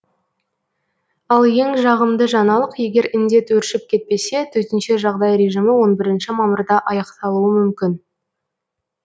ал ең жағымды жаңалық егер індет өршіп кетпесе төтенше жағдай режимі он бірінші мамырда аяқталуы мүмкін